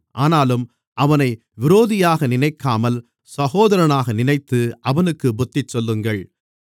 ஆனாலும் அவனை விரோதியாக நினைக்காமல் சகோதரனாக நினைத்து அவனுக்குப் புத்திசொல்லுங்கள்